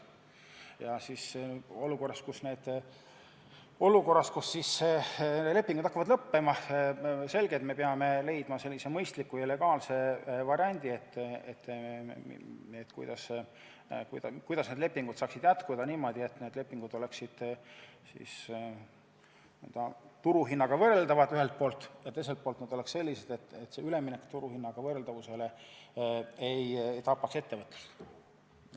Ja olukorras, kus need lepingud hakkavad lõppema, on selge, et peame leidma sellise mõistliku ja legaalse variandi, kuidas lepingud saaksid jätkuda niimoodi, et need oleksid ka turuhinnaga võrreldavad, seda ühelt poolt, ja teiselt poolt, et need lepingud oleksid sellised, et üleminek turuhinnaga võrreldavale olukorrale ei tapaks ettevõtlust.